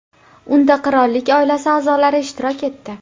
Unda qirollik oilasi a’zolari ishtirok etdi.